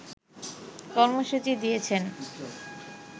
কর্মসূচি দিয়েছেন